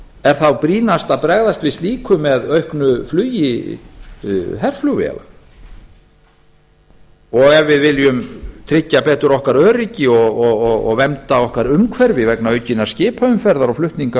er þá brýnast að bregðast við slíku með auknu flugi herflugvéla ef við viljum tryggja betur okkar öryggi og vernda okkar umhverfi vegna aukinnar skipaumferðar og flutninga á